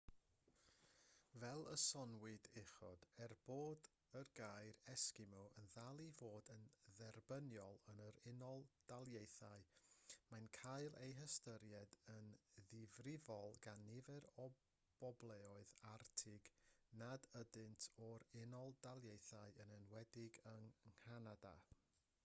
fel y soniwyd uchod er bod y gair esgimo yn dal i fod yn dderbyniol yn yr unol daleithiau mae'n cael ei ystyried yn ddifrïol gan nifer o bobloedd arctig nad ydynt o'r u.d yn enwedig yng nghanada